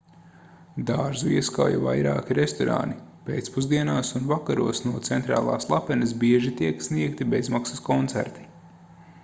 dārzu ieskauj vairāki restorāni pēcpusdienās un vakaros no centrālās lapenes bieži tiek sniegti bezmaksas koncerti